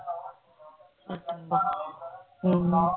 ਹਮ